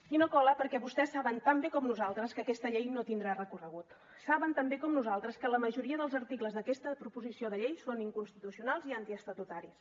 i no cola perquè vostès saben tan bé com nosaltres que aquesta llei no tindrà recorregut saben tan bé com nosaltres que la majoria dels articles d’aquesta proposició de llei són inconstitucionals i antiestatutaris